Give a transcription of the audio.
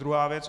Druhá věc.